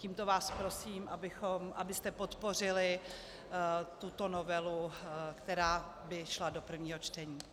Tímto vás prosím, abyste podpořili tuto novelu, která by šla do prvního čtení.